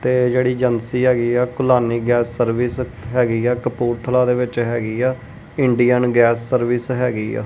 ਤੇ ਜਿਹੜੀ ਏਜੰਸੀ ਹੈਗੀ ਆ ਕੁਲਾਨੀ ਗੈਸ ਸਰਵਿਸ ਹੈਗੀ ਆ। ਕਪੂਰਥਲਾ ਦੇ ਵਿੱਚ ਹੈਗੀ ਆ। ਇੰਡੀਅਨ ਗੈਸ ਸਰਵਿਸ ਹੈਗੀ ਆ।